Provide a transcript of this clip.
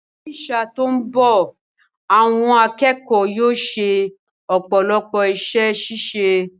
Ní sáà tó mbọ̀, àwọn akẹ́kọ̀ọ́ yóò ṣe ọ̀pọ̀lọpọ̀ iṣẹ́ ṣíṣe